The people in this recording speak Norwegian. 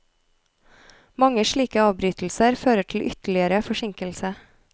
Mange slike avbrytelser fører til ytterligere forsinkelse.